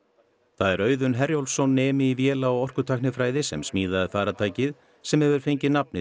það er Auðunn Herjólfsson nemi í véla og orkutæknifræði sem smíðaði farartækið sem hefur fengið nafnið